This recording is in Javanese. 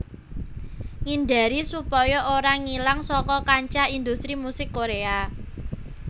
Ngindari supaya ora ngilang saka kancah industri musik Korèa